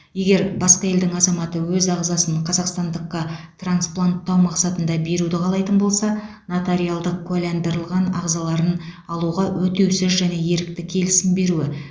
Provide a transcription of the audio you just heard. егер басқа елдің азаматы өз ағзасын қазақстандыққа транспланттау мақсатында беруді қалайтын болса нотариалдық куәландырылған ағзаларын алуға өтеусіз және ерікті келісім беруі